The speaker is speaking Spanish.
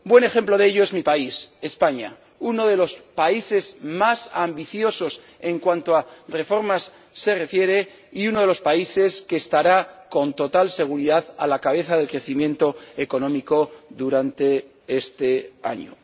Buen ejemplo de ello es mi país, España, uno de los países más ambiciosos en cuanto a reformas se refiere y uno de los países que estará, con total seguridad, a la cabeza del crecimiento económico durante este año.